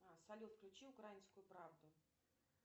салют включи украинскую правду